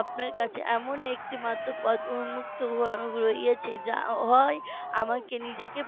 আপনার কাছে এমন একটি মাত্র পথ উন্মুক্ত রয়েছে যা হয় আমাকে নিজেকে